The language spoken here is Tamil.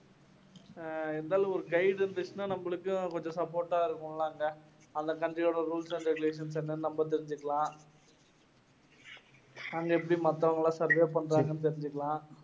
அஹ் இருந்தாலும் ஒரு guide இருந்திச்சின்னா நம்மளுக்கும் கொஞ்சம் support ஆ இருக்கும்ல அங்க அந்த country யோட rules and regulations ச என்னென்னு நம்ம தெரிஞ்சிக்கலாம் அங்க எப்படி மத்தவங்கல்லாம் survive பண்றாங்கன்னு தெரிஞ்சுக்கலாம்